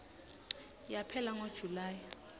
yaphela ngo july